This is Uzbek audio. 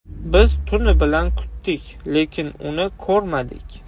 Biz tuni bilan kutdik, lekin uni ko‘rmadik.